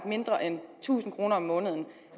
mindre end tusind kroner om måneden